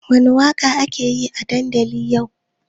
Wani waƙa ake yi a dandali yau?